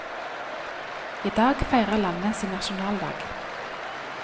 I dag feirer landet sin nasjonaldag.